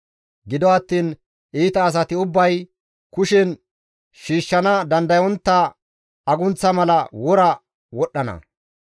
Gido attiin iita asati ubbay, kushen shiishshana dandayettontta agunththa mala wora wodhdhana.